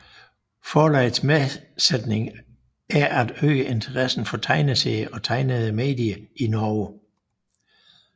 Forlagets målsætning er at øge interessen for tegneserier og tegnede medier i Norge